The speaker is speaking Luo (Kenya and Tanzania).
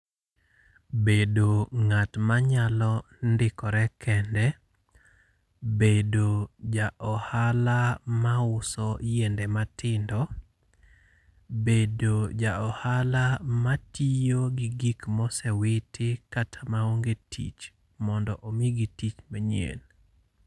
Bedo ng'at manyalo ndikore kende. Bedo ja ohala ma uso yiende matindo. Bedo ja ohala matiyo gi gik mosewiti kata maonge tich, mondo omigi tich manyien.